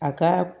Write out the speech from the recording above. A ka